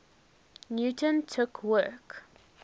newton took work